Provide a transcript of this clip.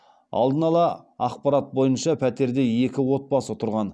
алдын ала ақпарат бойынша пәтерде екі отбасы тұрған